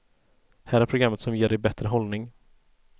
Här är programmet som ger dig bättre hållning.